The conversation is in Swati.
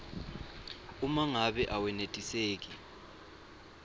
uma ngabe awenetiseki